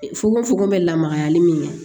Fokofoko bɛ lamagali min kɛ